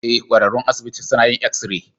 Ee, ƙwararrun asibiti suna yin x-rays.